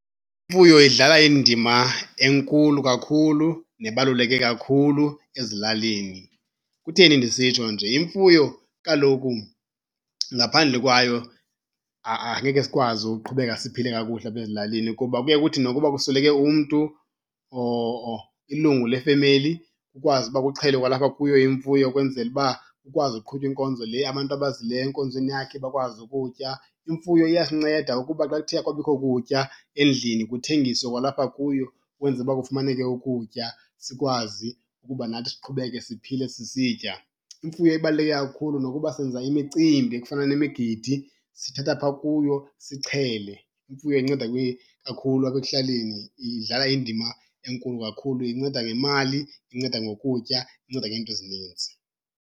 Imfuyo idlala indima enkulu kakhulu nebaluleke kakhulu ezilalini. Kutheni ndisitsho nje? Imfuyo kaloku ngaphandle kwayo angeke sikwazi uqhubeka siphile kakuhle apha ezilalini kuba kuye kuthi nokuba kusweleke umntu or ilungu lefemeli kukwazi uba kuxhelwe kwalapha kuyo imfuyo ukwenzela uba kukwazi uqhutywa inkonzo le, abantu abazileyo enkonzweni yakhe bakwazi ukutya. Imfuyo iyasinceda ukuba xa kuthe akwabikho kutya endlini kuthengiswe kwalapha kuyo ukwenzela uba kufumaneke ukutya sikwazi ukuba nathi siqhubeke siphile sisitya. Imfuyo ibaluleke kakhulu, nokuba senza imicimbi ekufana nemigidi sithatha phaa kuyo sixhele. Imfuyo inceda kakhulu apha ekuhlaleni, idlala indima enkulu kakhulu. Inceda ngemali, inceda ngokutya, inceda ngeento ezininzi.